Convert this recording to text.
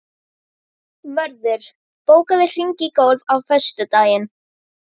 Mörður, bókaðu hring í golf á föstudaginn.